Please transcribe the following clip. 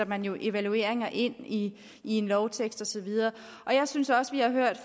man jo evalueringer ind i en lovtekst og så videre jeg synes også